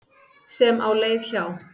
sem á leið hjá.